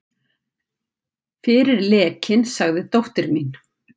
Fyrir lekinn sagði dóttir mín.